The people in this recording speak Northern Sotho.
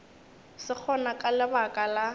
se gona ka lebaka la